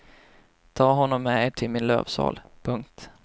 Ta honom med er till min lövsal. punkt